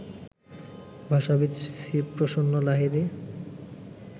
ভাষাবিদ Shibprasanna Lahiri